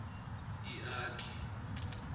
iakhe